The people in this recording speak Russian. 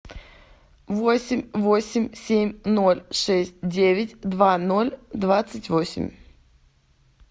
восемь восемь семь ноль шесть девять два ноль двадцать восемь